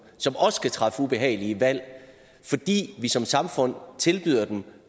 som også skal træffe ubehagelige valg fordi vi som samfund tilbyder dem